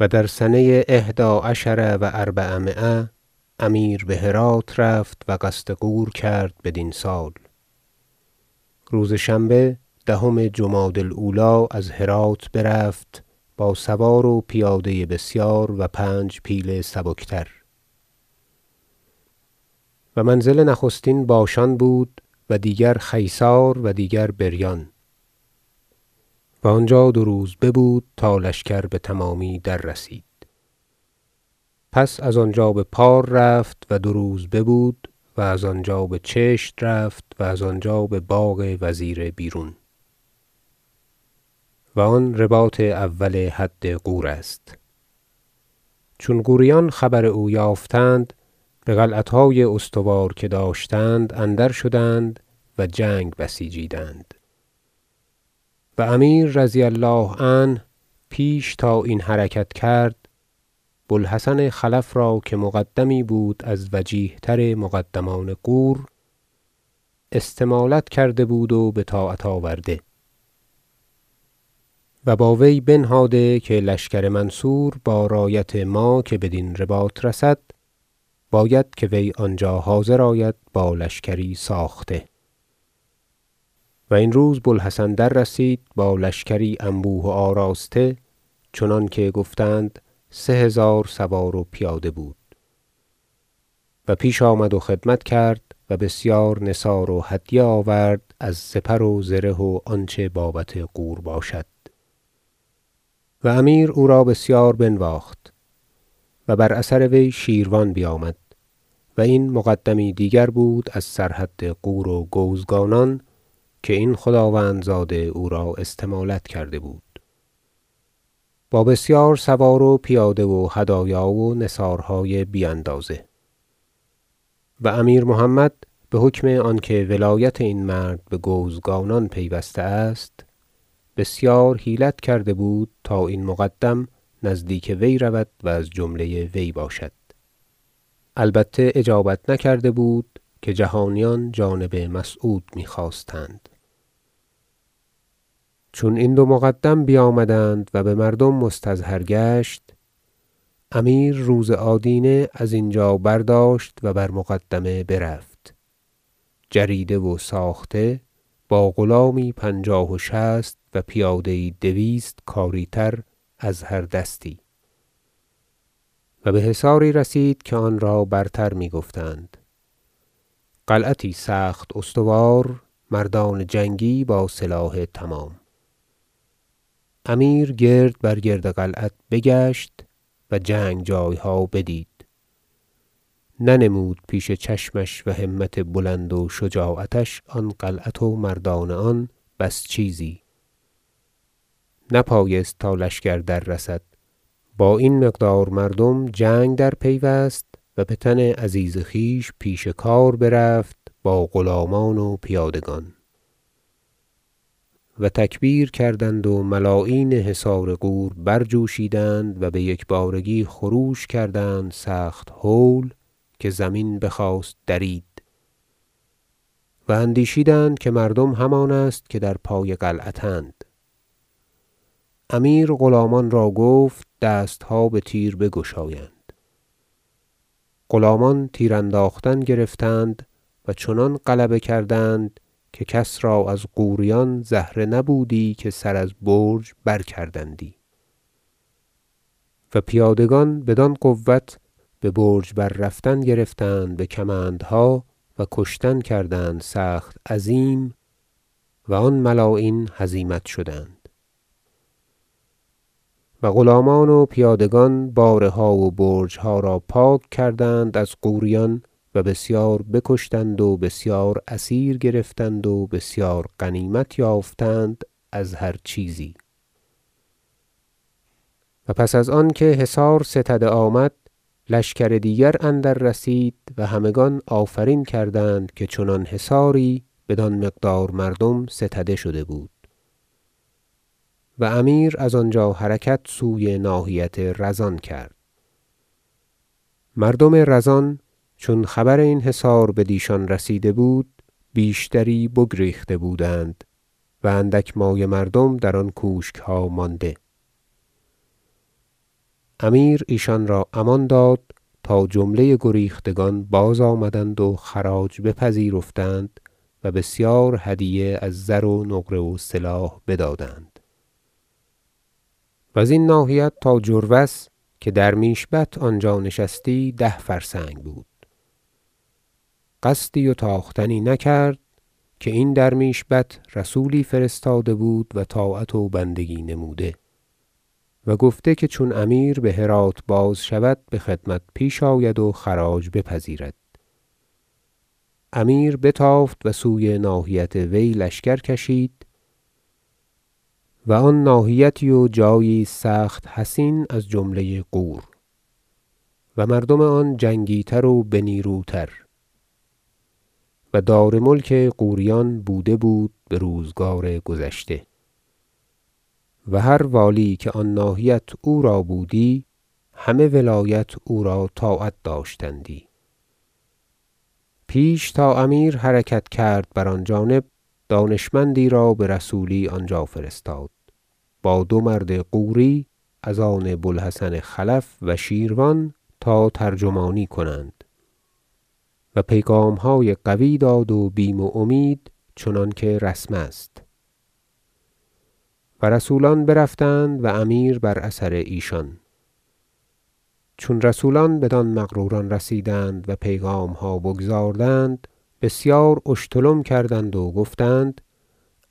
و در سنه إحدی عشر و أربعمایه امیر به هرات رفت و قصد غور کرد بدین سال روز شنبه دهم جمادی الأولی از هرات برفت با سوار و پیاده بسیار و پنج پیل سبکتر و منزل نخستین باشان بود و دیگر خیسار و دیگر بریان و آنجا دو روز ببود تا لشکر بتمامی دررسید پس از آنجا به پار رفت و دو روز ببود و از آنجا به چشت رفت و از آنجا به باغ وزیر بیرون و آن رباط اول حد غور است چون غوریان خبر او یافتند به قلعتهای استوار که داشتند اندرشدند و جنگ بسیجیدند و امیر -رضی الله عنه- پیش تا این حرکت کرد بوالحسن خلف را که مقدمی بود از وجیه تر مقدمان غور استمالت کرده بود و به طاعت آورده و با وی بنهاده که لشکر منصور با رایت ما که بدین رباط رسد باید که وی آنجا حاضر آید با لشکری ساخته و این روز بوالحسن دررسید با لشکری انبوه و آراسته چنانکه گفتند سه هزار سوار و پیاده بود و پیش آمد و خدمت کرد و بسیار نثار و هدیه آورد از سپر و زره و آنچه بابت غور باشد و امیر او را بسیار بنواخت و بر اثر وی شیروان بیامد- و این مقدمی دیگر بود از سرحد غور و گوزگانان که این خداوندزاده او را استمالت کرده بود- با بسیار سوار و پیاده و هدایا و نثارهای بی اندازه و امیر محمد به حکم آنکه ولایت این مرد به گوزگانان پیوسته است بسیار حیلت کرده بود تا این مقدم نزدیک وی رود و از جمله وی باشد البته اجابت نکرده بود که جهانیان جانب مسعود میخواستند چون این دو مقدم بیامدند و به مردم مستظهر گشت امیر روز آدینه از اینجا برداشت و بر مقدمه برفت جریده و ساخته با غلامی پنجاه و شصت و پیاده یی دویست کاری تر از هر دستی و به حصاری رسید که آن را برتر می گفتند قلعتی سخت استوار و مردان جنگی با سلاح تمام امیر گردبرگرد قلعت بگشت و جنگ جایها بدید ننمود پیش چشمش و همت بلند و شجاعتش آن قلعت و مردان آن بس چیزی نپایست تا لشکر دررسد با این مقدار مردم جنگ درپیوست و به تن عزیز خویش پیش کار برفت با غلامان و پیادگان و تکبیر کردند و ملاعین حصار غور برجوشیدند و بیکبارگی خروش کردند سخت هول که زمین بخواست درید و اندیشیدند که مردم همان است که در پای قلعت اند امیر غلامان را گفت دستها به تیر بگشایند غلامان تیر انداختن گرفتند و چنان غلبه کردند که کس را از غوریان زهره نبودی که سر از برج برکردندی و پیادگان بدان قوة به برج بررفتن گرفتند به کمندها و کشتن کردند سخت عظیم و آن ملاعین هزیمت شدند و غلامان و پیادگان باره ها و برجها را پاک کردند از غوریان و بسیار بکشتند و بسیار اسیر گرفتند و بسیار غنیمت یافتند از هر چیزی و پس از آن که حصار ستده آمد لشکر دیگر اندررسید و همگان آفرین کردند که چنان حصاری بدان مقدار مردم ستده شده بود و امیر از آنجا حرکت سوی ناحیت رزان کرد مردم رزان چون خبر این حصار بدیشان رسیده بود بیشتری بگریخته بودند و اندک مایه مردم در آن کوشکها مانده امیر ایشان را امان داد تا جمله گریختگان بازآمدند و خراج بپذیرفتند و بسیار هدیه از زر و نقره و سلاح بدادند و زین ناحیت تا جروس که درمیش بت آنجا نشستی ده فرسنگ بود بدانجا قصدی و تاختنی نکرد که این درمیش بت رسولی فرستاده بود و طاعت و بندگی نموده و گفته که چون امیر به هرات بازشود به خدمت پیش آید و خراج بپذیرد امیر بتافت و سوی ناحیت وی لشکر کشید و آن ناحیتی و جایی است سخت حصین از جمله غور و مردم آن جنگی تر و بنیروتر و دار ملک غوریان بوده بود به روزگار گذشته و هر والی که آن ناحیت او را بودی همه ولایت او را طاعت داشتندی پیش تا امیر حرکت کرد بر آن جانب دانشمندی را به رسولی آنجا فرستاد با دو مرد غوری از آن بوالحسن خلف و شیروان تا ترجمانی کنند و پیغامهای قوی داد و بیم و امید چنانکه رسم است و رسولان برفتند و امیر بر اثر ایشان چون رسولان بدان مغروران رسیدند و پیغامها بگزاردند بسیار اشتلم کردند و گفتند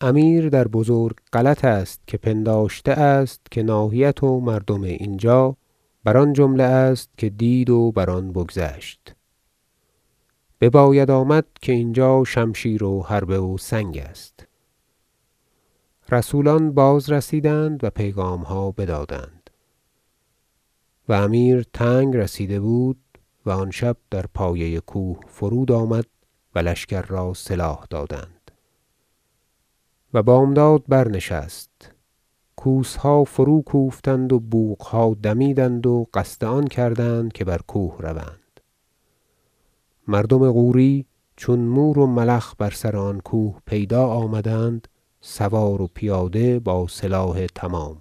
امیر در بزرگ غلط است که پنداشته است که ناحیت و مردم این جا بر آن جمله است که دید و بر آن بگذشت بباید آمد که اینجا شمشیر و حربه و سنگ است رسولان بازرسیدند و پیغامها بدادند و امیر تنگ رسیده بود و آن شب در پایه کوه فرود آمد و لشکر را سلاح دادند و بامداد برنشست کوسها فروکوفتند و بوقها دمیدند و قصد آن کردند که بر کوه روند مردم غوری چون مور و ملخ به سر آن کوه پیدا آمدند سواره و پیاده با سلاح تمام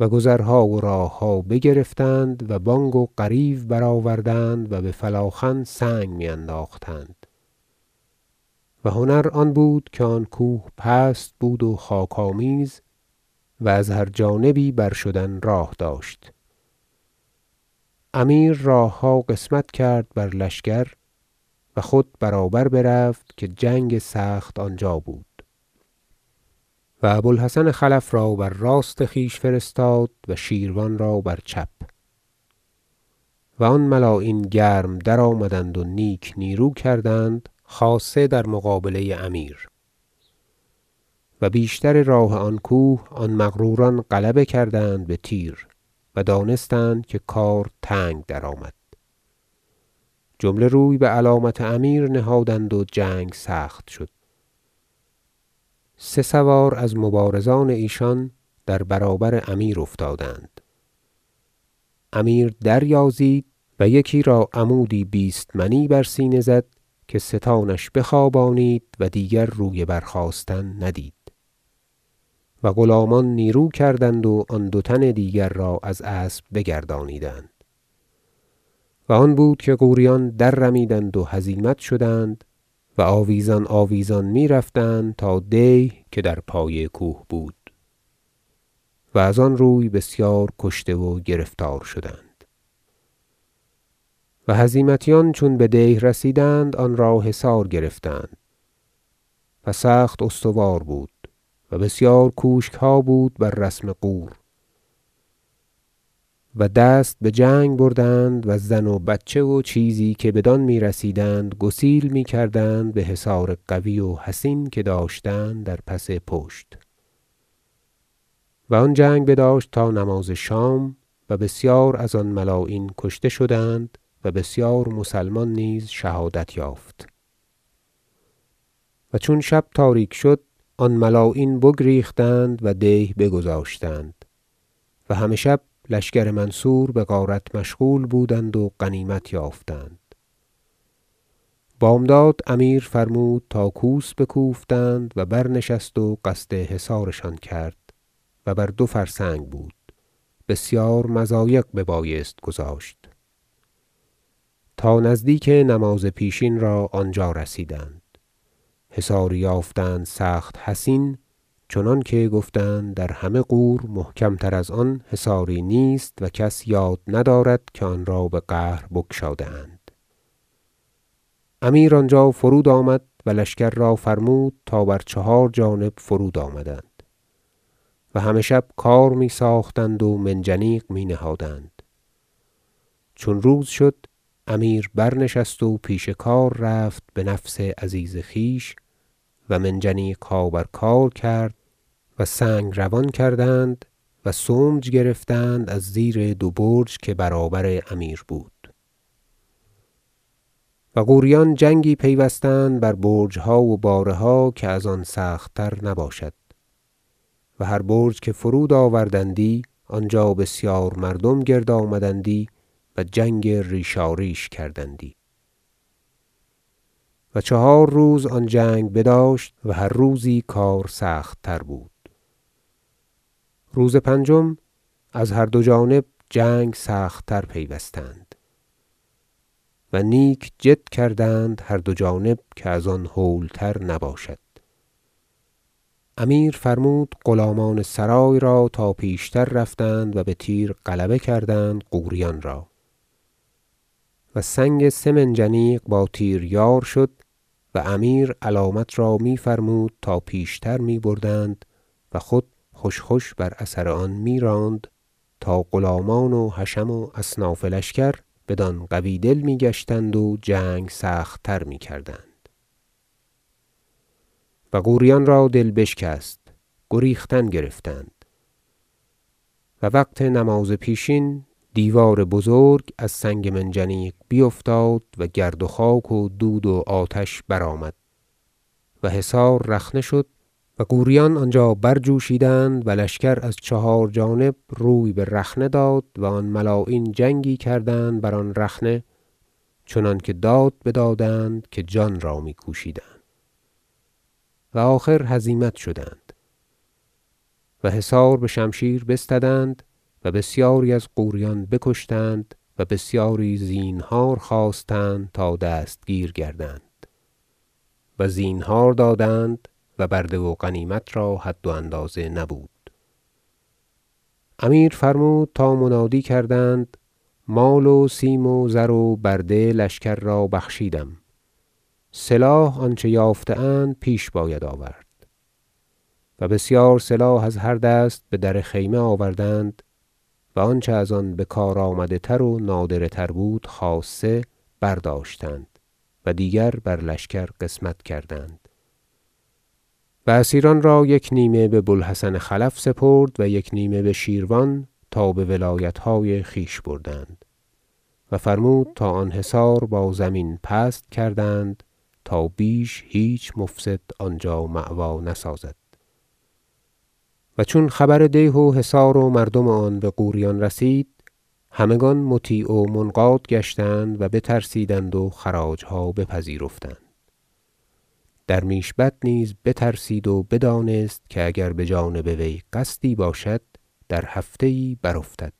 و گذرها و راهها بگرفتند و بانگ و غریو برآوردند و به فلاخن سنگ می انداختند و هنر آن بود که آن کوه پست بود و خاک آمیز و از هر جانبی برشدن راه داشت امیر راهها قسمت کرد بر لشکر و خود برابر برفت که جنگ سخت آنجا بود و ابوالحسن خلف را بر راست خویش فرستاد و شیروان را بر چپ و آن ملاعین گرم درآمدند و نیک نیرو کردند خاصه در مقابله امیر و بیشتر راه آن کوه آن مغروران غلبه کردند به تیر و دانستند که کار تنگ درآمد جمله روی به علامت امیر نهادند و جنگ سخت شد سه سوار از مبارزان ایشان در برابر امیر افتادند امیر دریازید و یکی را عمودی بیست منی بر سینه زد که ستانش بخوابانید و دیگر روی برخاستن ندید و غلامان نیرو کردند و آن دو تن دیگر را از اسب بگردانیدند و آن بود که غوریان دررمیدند و هزیمت شدند و آویزان آویزان میرفتند تا دیه که در پای کوه بود و از آن روی و بسیار کشته و گرفتار شدند و هزیمتیان چون بدیه رسیدند آنرا حصار گرفتند و سخت استوار بود و بسیار کوشکها بود بر رسم غور و دست بجنگ بردند و زن و بچه و چیزی که بدان میرسیدند گسیل میکردند بحصار قوی و حصین که داشتند در پس پشت و آن جنگ بداشت تا نماز شام و بسیار از آن ملاعین کشته شدند و بسیار مسلمان نیز شهادت یافت و چون شب تاریک شد آن ملاعین بگریختند و دیه بگذاشتند و همه شب لشکر منصور بغارت مشغول بودند و غنیمت یافتند بامداد امیر فرمود تا کوس بکوفتند و برنشست و قصد حصارشان کرد- و بر دو فرسنگ بود بسیار مضایق ببایست گذاشت- تا نزدیک نماز پیشین را آنجا رسیدند حصاری یافتند سخت حصین چنانکه گفتند در همه غور محکم تر از آن حصاری نیست و کس یاد ندارد که آن را به قهر بگشاده اند امیر آنجا فرود آمد و لشکر را فرمود تا بر چهار جانب فرود آمدند و همه شب کار می ساختند و منجنیق می نهادند چون روز شد امیر برنشست و پیش کار رفت به نفس عزیز خویش و منجنیقها بر کار کرد و سنگ روان کردند و سمج گرفتند از زیر دو برج که برابر امیر بود و غوریان جنگی پیوستند بر برجها و باره ها که از آن سخت تر نباشد و هر برج که فرود آوردندی آنجا بسیار مردم گرد آمدندی و جنگ ریشاریش کردندی و چهار روز آن جنگ بداشت و هر روزی کار سخت تر بود روز پنجم از هر دو جانب جنگ سخت تر پیوستند و نیک جد کردند هر دو جانب که از آن هول تر نباشد امیر فرمود غلامان سرای را تا پیشتر رفتند و به تیر غلبه کردند غوریان را و سنگ سه منجنیق با تیر یار شد و امیر علامت را میفرمود تا پیشتر می بردند و خود خوش خوش بر اثر آن میراند تا غلامان و حشم و اصناف لشکر بدان قوی دل می گشتند و جنگ سخت تر میکردند و غوریان را دل بشکست گریختن گرفتند و وقت نماز پیشین دیوار بزرگ از سنگ منجنیق بیفتاد و گرد و خاک و دود و آتش برآمد و حصار رخنه شد و غوریان آنجا برجوشیدند و لشکر از چهار جانب روی به رخنه داد و آن ملاعین جنگی کردند بر آن رخنه چنانکه داد بدادند که جان را می کوشیدند و آخر هزیمت شدند و حصار به شمشیر بستدند و بسیاری از غوریان بکشتند و بسیاری زینهار خواستند تا دستگیر گردند و زینهار دادند و برده و غنیمت را حد و اندازه نبود امیر فرمود تا منادی کردند مال و سیم و زر و برده لشکر را بخشیدم سلاح آنچه یافته اند پیش باید آورد و بسیار سلاح از هر دست به در خیمه آوردند و آنچه از آن بکارآمده تر و نادره تر بود خاصه برداشتند و دیگر بر لشکر قسمت کردند و اسیران را یک نیمه به بوالحسن خلف سپرد و یک نیمه به شیروان تا به ولایتهای خویش بردند و فرمود تا آن حصار با زمین پست کردند تا بیش هیچ مفسد آنجا مأوی نسازد و چون خبر دیه و حصار و مردم آن به غوریان رسید همگان مطیع و منقاد گشتند و بترسیدند و خراجها بپذیرفتند درمیش بت نیز بترسید و بدانست که اگر به جانب وی قصدی باشد در هفته یی برافتد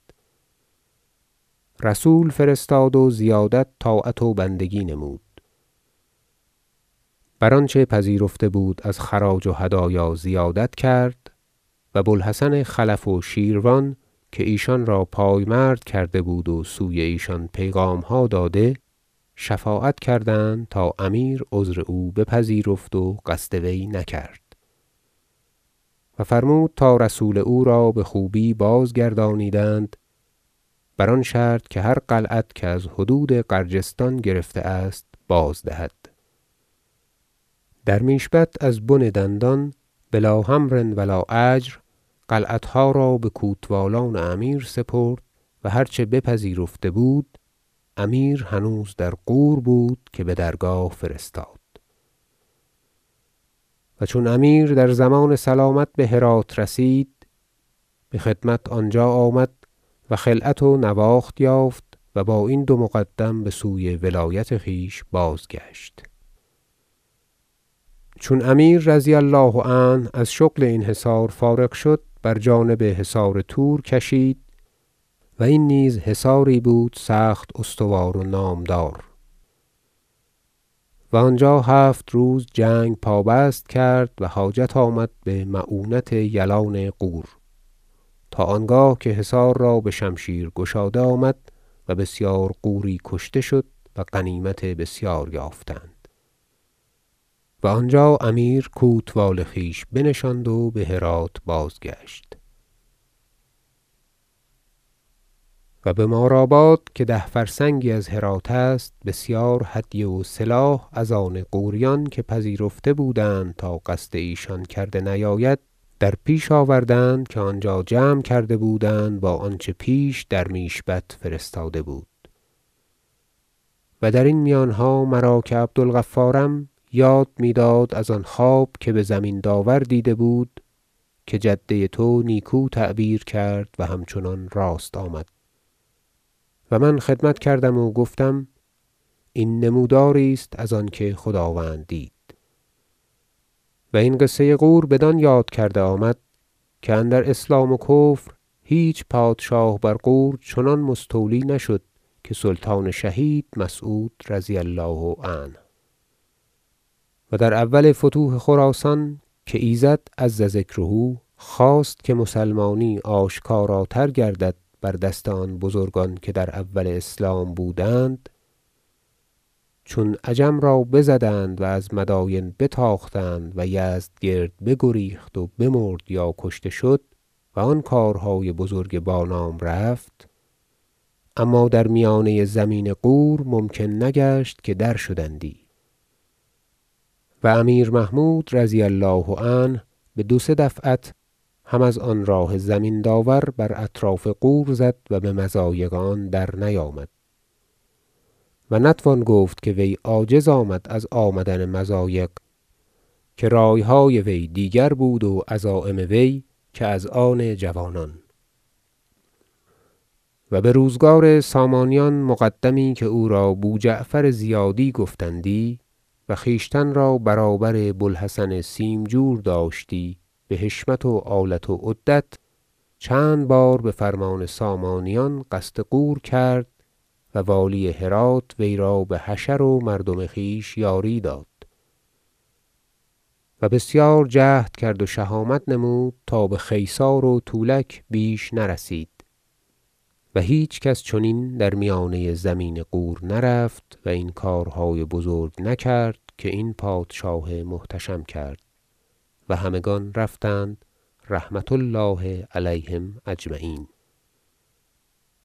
رسول فرستاد و زیادت طاعت و بندگی نمود و بر آنچه پذیرفته بود از خراج و هدایا زیادت کرد و بوالحسن خلف و شیروان که ایشان را پای مرد کرده بود و سوی ایشان پیغامها داده شفاعت کردند تا امیر عذر او بپذیرفت و قصد وی نکرد و فرمود تا رسول او را به خوبی بازگردانیدند بر آن شرط که هر قلعت که از حدود غرجستان گرفته است بازدهد درمیش بت از بن دندان بلا حمر و لا اجر قلعتها را به کوتوالان امیر سپرد و هر چه بپذیرفته بود امیر هنوز در غور بود که به درگاه فرستاد و چون امیر در ضمان سلامت به هرات رسید به خدمت آنجا آمد و خلعت و نواخت یافت و با این دو مقدم به سوی ولایت خویش بازگشت چون امیر -رضی الله عنه- از شغل این حصار فارغ شد بر جانب حصار تور کشید و این نیز حصاری بود سخت استوار و نامدار و آنجا هفت روز جنگ پابست کرد و حاجت آمد به معونت یلان غور تا آنگاه که حصار را به شمشیر گشاده آمد و بسیار غوری کشته شد و غنیمت بسیار یافتند و آنجا امیر کوتوال خویش بنشاند و به هرات بازگشت و به مارآباد که ده فرسنگی از هرات است بسیار هدیه و سلاح از آن غوریان که پذیرفته بودند تا قصد ایشان کرده نیاید در پیش آوردند که آنجا جمع کرده بودند با آنچه پیش درمیش بت فرستاده بود و درین میانها مرا که عبدالغفارم یاد میداد از آن خواب که به زمین داور دیده بود که جده تو نیکو تعبیر کرد و همچنان راست آمد و من خدمت کردم و گفتم این نموداری است از آنکه خداوند دید و این قصه غوریان بدان یاد کرده آمد که اندر اسلام و کفر هیچ پادشاه بر غور چنان مستولی نشد که سلطان شهید مسعود -رضي الله عنه- و در اول فتوح خراسان که ایزد -عز ذکره- خواست که مسلمانی آشکاراتر گردد بر دست آن بزرگان که در اول اسلام بودند چون عجم را بزدند و از مداین بتاختند و یزدگرد بگریخت و بمرد یا کشته شد و آن کارهای بزرگ بانام برفت اما در میانه زمین غور ممکن نگشت که درشدندی و امیر محمود -رضي الله عنه- به دو سه دفعت هم از آن راه زمین داور بر اطراف غور زد و به مضایق آن درنیامد و نتوان گفت که وی عاجز آمد از آمدن مضایق که رایهای وی دیگر بود و عزایم وی که از آن جوانان و به روزگار سامانیان مقدمی که او را بوجعفر زیادی گفتندی و خویشتن را برابر بوالحسن سیمجور داشتی به حشمت و آلت و عدت چند بار به فرمان سامانیان قصد غور کرد و والی هرات وی را به حشر و مردم خویش یاری داد و بسیار جهد کرد و شهامت نمود تا به خیسار و تولک بیش نرسید و هیچکس چنین در میانه زمین غور نرفت و این کارهای بزرگ نکرد که این پادشاه محتشم کرد و همگان رفتند -رحمة الله علیهم أجمعین-